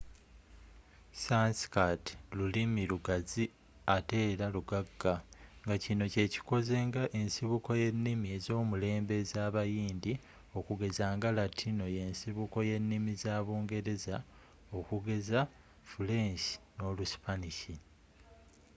sanskirt lulimi lugazi ateera lugagga ngakino kyekikoze nga ensibuko yennimi ezomulembe ezabayindi okugeza nga latino yensibuko yennimi za bungereza okugeza fuleenshi noluspanish